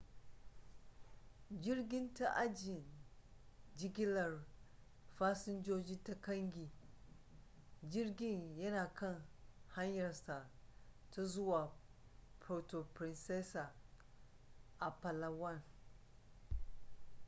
jirgin ta ajin jigilar fasinjoji ta kangi jirgin yana kan hanyarsa ta zuwa puerto princesa a palawan